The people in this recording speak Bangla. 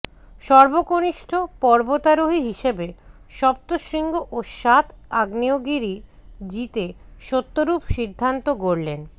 সর্বকনিষ্ঠ পর্বতারোহী হিসেবে সপ্ত শৃঙ্গ ও সাত আগ্নেয়গিরি জিতে সত্যরূপ সিদ্ধান্ত গড়লেন